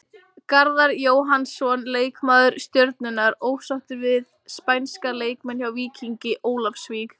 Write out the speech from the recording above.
Garðar Jóhannsson, leikmaður Stjörnunnar, ósáttur við spænska leikmenn hjá Víkingi Ólafsvík.